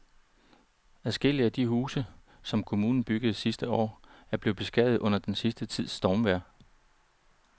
Adskillige af de huse, som kommunen byggede sidste år, er blevet beskadiget under den sidste tids stormvejr.